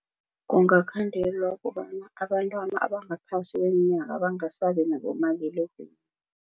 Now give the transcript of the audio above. Kungakhandelwa kobana abantwana abangaphasi kweminyaka bangasabi nabomaliledinini.